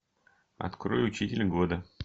открой учитель года